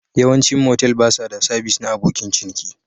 Yawancin motel ba sa ba da sabis na abokin ciniki